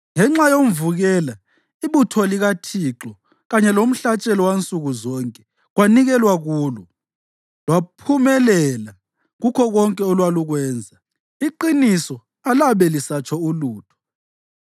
Ngenxa yomvukela, ibutho likaThixo, kanye lomhlatshelo wansuku zonke kwanikelwa kulo. Lwaphumelela kukho konke olwalukwenza, iqiniso alabe lisatsho ulutho.